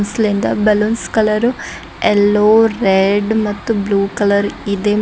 balloons colour yellow red ಮತ್ತು blue colour ಇದೆ ಮತ್--